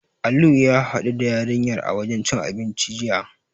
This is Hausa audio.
Alu ya haɗu da yarinyar a wajen cin abinci, jiya.